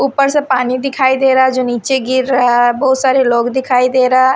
ऊपर से पानी दिखाई दे रहा जो नीचे गिर रहा बहुत सारे लोग दिखाई दे रहा--